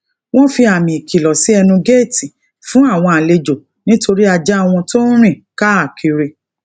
wón fi àmì ikìlò si enu geeti fún àwọn àlejò nitori ajá wọn tó ń rìn káàkiri